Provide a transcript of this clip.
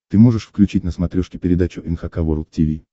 ты можешь включить на смотрешке передачу эн эйч кей волд ти ви